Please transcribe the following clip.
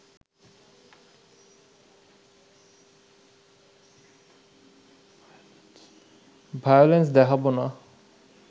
violence দেখাব না